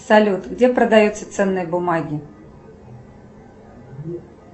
салют где продаются ценные бумаги